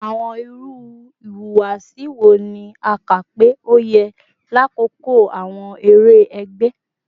Awọn iru ihuwasi wo ni a ka pe o yẹ lakoko awọn ere ẹgbẹ?